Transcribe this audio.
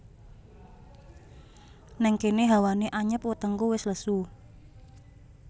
Nèng kéné hawané anyep wetengku wis lesu